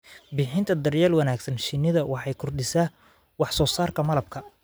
Bixinta daryeel wanaagsan shinida waxay kordhisaa wax soo saarka malabka.